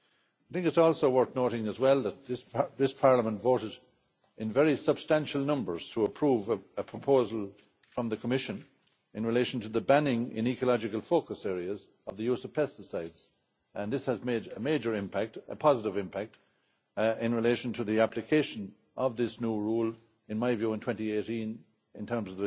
I think it is also worth noting as well that this Parliament voted in very substantial numbers to approve a proposal from the Commission in relation to the banning in ecological focus areas of the use of pesticides, and this has made a major impact a positive impact in relation to the application of this new rule, in my view, in 2018 in terms